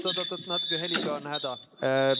Oot-oot-oot, natuke heliga on häda.